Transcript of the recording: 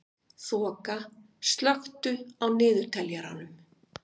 Þoka, slökktu á niðurteljaranum.